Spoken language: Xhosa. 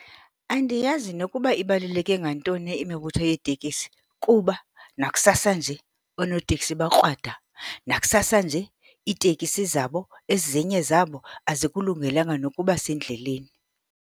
Andiyazi nokuba ibaluleke ngantoni imibutho yeetekisi kuba nakusasa nje, oonoteksi bakrwada, nakusasa nje iitekisi zabo ezinye zabo azikulungelanga nokuba sendleleni.